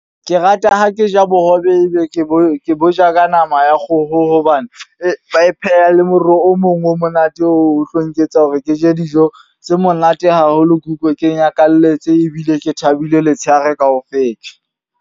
Ke rata ho ke ja bohobe e be ke bo ke bo ja ka nama ya kgoho. Hobane e ba e pheha le moroho o mong o monate o tlo nketsa hore ke je dijo tse monate haholo. Ke utlwe ke nyakalletse ebile ke thabile letshehare ka ofela.